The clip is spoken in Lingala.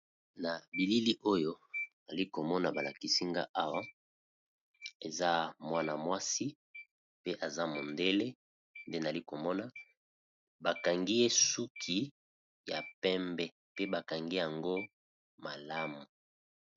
Na bilili oyo nali komona ba lakisi nga Awa eza mwana-mwasi pe aza mondele, nde nali komona bakangi ye suki ya pembe pe bakangi yango malamu.